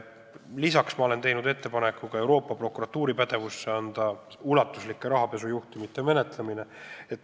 Lisaks ma olen teinud ettepaneku anda ulatusliku rahapesu juhtumite menetlemine ka Euroopa Prokuratuuri pädevusse.